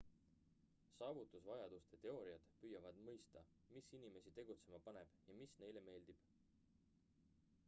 saavutusvajaduste teooriad püüavad mõista mis inimesi tegutsema paneb ja mis neile meeldib